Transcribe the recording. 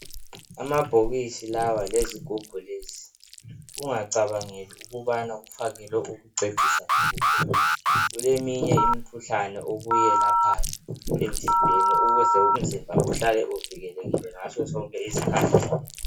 Amabhokisi lawa lezigubhu lezi ungacabangeli ukubana kufakelwe ukucecisa nje kuphela kuleminye imkhuhlane okuyelaphayo emzimbeni ukuze umzimba uhlale uvikelekile ngasosonke isikhathi.